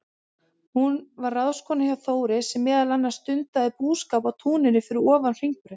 Hún var ráðskona hjá Þóri, sem meðal annars stundaði búskap á túninu fyrir ofan Hringbraut.